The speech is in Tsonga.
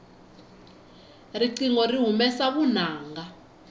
riqingho ri humesa vunanga